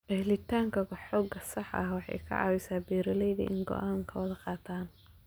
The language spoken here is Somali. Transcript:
Helitaanka xog sax ah waxay ka caawisaa beeralayda inay go'aano qaataan.